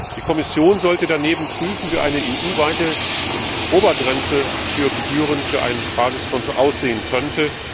Die Kommission sollte daneben prüfen, wie eine EU weite Obergrenze für Gebühren für ein Basiskonto aussehen könnte.